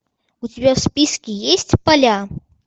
у тебя в списке есть поля